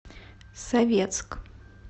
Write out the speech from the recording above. советск